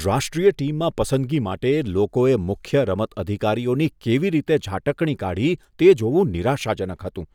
રાષ્ટ્રીય ટીમમાં પસંદગી માટે લોકોએ મુખ્ય રમત અધિકારીઓની કેવી રીતે ઝાટકણી કાઢી, તે જોવું નિરાશાજનક હતું